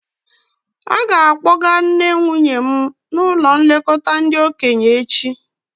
A ga-akpọga nna nwunye m n'ụlọ nlekọta ndị okenye echi